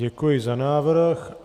Děkuji za návrh.